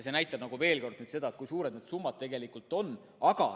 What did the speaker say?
See näitab veel kord seda, kui suured need summad tegelikult on.